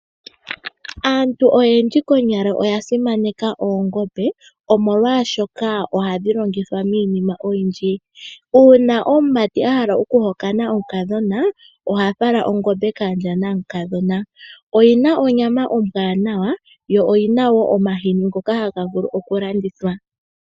Aantu oyendji konyala oya simaneka oongombe, molwashoka ohadhi longithwa miinima oyindji. Uuna omumati a hala okuhokana omukadhona oha fala ongombe kaandja namukadhona. Oyi na onyama ombwaanawa, yo oyi na wo omahini ngoka haga vulu okulandithwa.